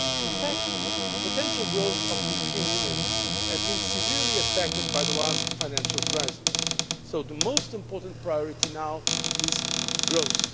In fact, the potential growth of the European Union has been severely affected by the last financial crisis, so the most important priority now is growth.